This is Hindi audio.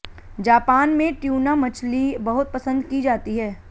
जापान में ट्यूना मछली बहुत पंसद की जाती है